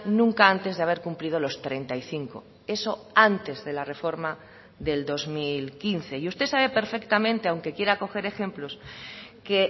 nunca antes de haber cumplido los treinta y cinco eso antes de la reforma del dos mil quince y usted sabe perfectamente aunque quiera coger ejemplos que